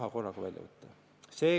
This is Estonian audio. Paul Puustusmaa EKRE fraktsiooni nimel, palun!